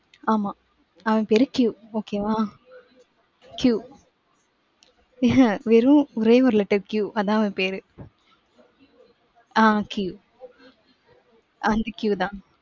ஆமாம். அவன் பேரு Q okay வா? Q உஹும் வெறும் ஒரே ஒரு letter Q அதான் அவன் பேரு. ஆஹ் Q அந்த Q தான்.